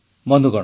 ବନ୍ଧୁଗଣ